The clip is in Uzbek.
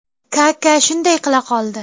Kaka shunday qila qoldi.